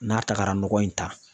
N'a tara nɔgɔ in ta